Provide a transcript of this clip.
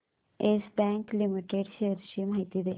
yes Bank Limited shares ची माहिती दे